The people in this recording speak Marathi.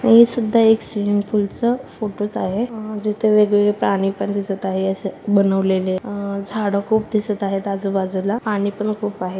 हे सुद्धा एक स्विमिंग पूल च फोटो च आहे जिथे वेग-वेगळे प्राणी पण दिसत आहे असं बनवलेले अं झाड खूप दिसत आहेत आजूबाजूला पाणी पण खूप आहे.